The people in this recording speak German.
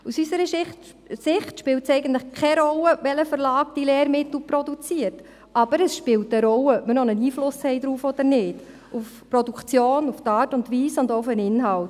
– Aus unserer Sicht spielt es eigentlich keine Rolle, welcher Verlag die Lehrmittel produziert, aber es spielt eine Rolle, ob wir noch einen Einfluss darauf haben oder nicht: auf die Produktion, auf die Art und Weise und auch auf den Inhalt.